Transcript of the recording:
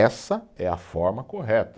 Essa é a forma correta.